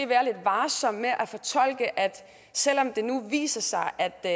være lidt varsom med at selv om det nu viser sig at der